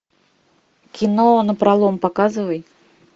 кино напролом показывай